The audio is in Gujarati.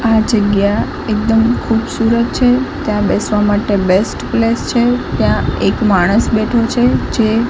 આ જગ્યા એકદમ ખૂબસુરત છે ત્યાં બેસવા માટે બેસ્ટ પ્લેસ છે ત્યાં એક માણસ બેઠો છે જે--